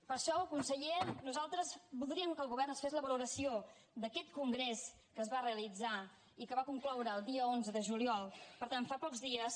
per això conseller nosaltres voldríem que el govern ens fes la valoració d’aquest congrés que es va realitzar i que va concloure el dia onze de juliol per tant fa pocs dies